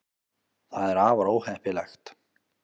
það er afar óheppilegt